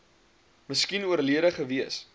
miskien oorlede gewees